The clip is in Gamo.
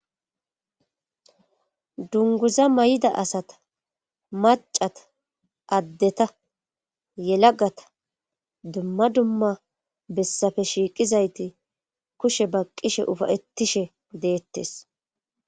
dunguza may7ida asata macata addeta yelagata dumma dumma bessafe shiiqizayti kushe baqqishe ufayettishe deettes